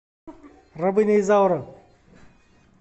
рабыня изаура